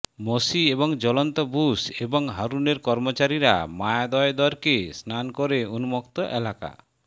মোশি এবং জ্বলন্ত বুশ এবং হারুনের কর্মচারীরা মায়াদয়দেরকে স্নান করে উন্মুক্ত এলাকা